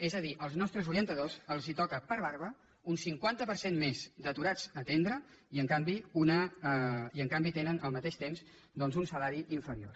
és a dir als nostres orientadors els toca per barba un cinquanta per cent més d’aturats a atendre i en canvi tenen al mateix temps un salari inferior